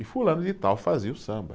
E fulano de tal fazia o samba.